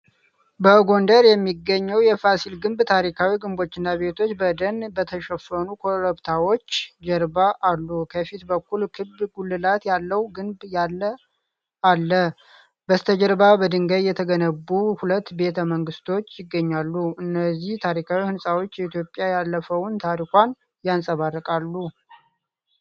በጎንደር የሚገኘው የፋሲል ግቢ ታሪካዊ ግንቦችና ቤቶች በደን በተሸፈኑ ኮረብታዎች ጀርባ አሉ። ከፊት በኩል ክብ ጉልላት ያለው ግንብ ያለ አለ፡፡ በስተጀርባ በድንጋይ የተገነቡ ሁለት ቤተ መንግስቶች ይገኛሉ። እነዚህ ታሪካዊ ሕንፃዎች የኢትዮጵያን ያለፈውን ታሪኳን ያንፀባርቃሉ።